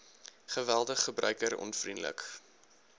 geweldig gebruiker onvriendelik